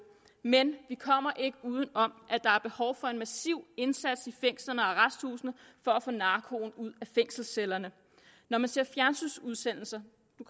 men vi kommer ikke uden om at der er behov for en massiv indsats i fængslerne og arresthusene for at få narkoen ud af fængselscellerne når man ser fjernsynsudsendelser